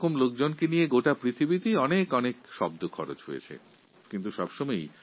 এই সমস্ত মানুষদের সনাক্তকরণের জন্য অনেক রকমের শব্দ ব্যবহৃত হয়